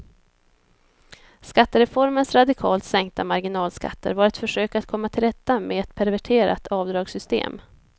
Skattereformens radikalt sänkta marginalskatter var ett försök att komma till rätta med ett perverterat avdragssystem.